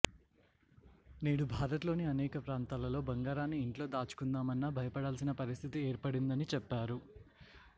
నేడు భారత్ లోని అనేక ప్రాంతాలలో బంగారాన్ని ఇంట్లో దాచుకుందామన్నా భయపడాల్సిన పరిస్థితి ఏర్పడిందని చెప్పారు